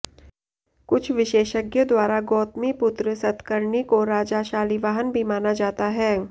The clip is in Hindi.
कुछ विशेषज्ञों द्वारा गौतमिपुत्र सत्कर्णी को राजा शालीवाहन भी माना जाता है